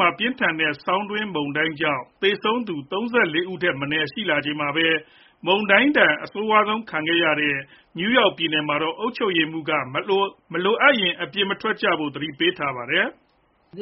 မှာ ပြင်းထန်တဲ့ ဆောင်းတွင်း မုန်တိုင်းကြောင့် သေဆုံးသူ ၃၄ ဦးထက်မနည်း ရှိလာချိန်မှာပဲ၊ မုန်တိုင်းဒဏ် အဆိုးဆုံးခံနေရတဲ့ နယူးယောက် ပြည်နယ်မှာတော့ အုပ်ချုပ်ရေးမှူးက မလိုအပ်ရင် အိမ်ပြင်မထွက်ကြဖို့ သတိပေးထားပါတယ်။ “သ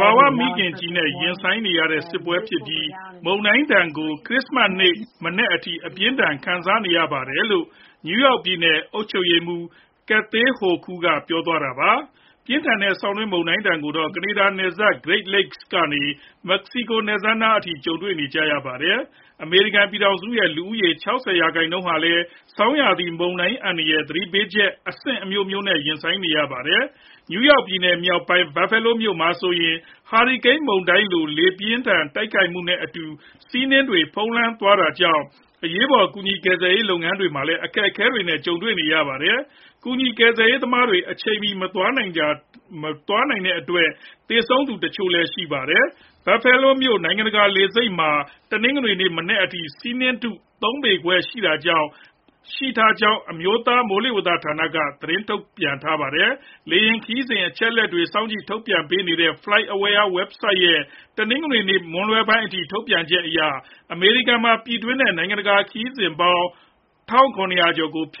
ဘာဝမိခင်ကြီးနဲ့ ရင်ဆိုင်နေရတဲ့ စစ်ပွဲဖြစ်ပြီး၊ မုန်တိုင်းဒဏ်ကို ခရစ္စမတ်နေ့ မနက်အထိ အပြင်းအထန် ခံနေရပါတယ်။” လို့ နယူးယောက်ပြည်နယ် အုပ်ချုပ်ရေးမှူး Kathy Hochul က ပြောသွားတာပါ။ ပြင်းထန်တဲ့ ဆောင်းတွင်းမုန်တိုင်းဒဏ်ကိုတော့ ကနေဒါနိုင်ငံနယ်စပ် Great Lakes ကနေ မက္ကဆီကို နယ်စပ်နားအထိ ကြုံတွေ့နေကြရပါတယ်။ အမေရိကန် ပြည်ထောင်စုရဲ့ လူဦးရေ ၆ဝ ရာခိုင်နှုန်းဟာလည်း ဆောင်းရာသီ မုန်တိုင်း အန္တရာယ်၊ သတိပေးချက် အဆင့်အမျိုးမျိုးနဲ့ ရင်ဆိုင်နေကြရတာပါ။ နယူးယောက်ပြည်နယ် မြောက်ပိုင်း Buffalo မြို့မှာဆိုရင် ဟာရီကိန်းမုန်တိုင်းလို လေပြင်းတိုက်ခိုက်မှုနဲ့အတူ ဆီးနှင်းတွေ ဖုံးလွှမ်းနေတာကြောင့် အရေးပေါ် ကူညီကယ်ဆယ်ရေး လုပ်ငန်းတွေမှာလည်း အခက်အခဲတွေနဲ့ ကြုံနေရပါတယ်။ ကူညီကယ်ဆယ်ရေး သမားတွေ အချိန်မီမသွားနိုင်တာကြောင့် သေဆုံးရသူ တချို့လည်း ရှိနေတာပါ။ Buffalo Niagara နိုင်ငံတကာ လေဆိပ်မှာ တနင်္ဂနွေနေ့မနက်ပိုင်းက ဆီးနှင်းထု ၃ ပေခွဲလောက် ရှိခဲ့ကြောင်းလည်း အမျိုးသား မိုးလေဝသဌာနက သတင်းထုတ်ပြန်ခဲ့တာပါ။ လေယာဉ်ခရီးစဉ် အချက်အလက်တွေ စောင့်ကြည့်ထုတ်ပြန်ပေးနေတဲ့ FlightAware ဝဘ်ဆိုဒ်ရဲ့ တနင်္ဂနွေနေ့ မွန်းလွဲပိုင်းအထိ ထုတ်ပြန်ချက်အရ အမေရိကန်မှာ ပြည်တွင်းနဲ့ နိုင်ငံတကာ လေယာဉ်ခရီးစဉ်ပေါင်း ၁၇၀၀ ကျော်ကိုလည်း ဖျက်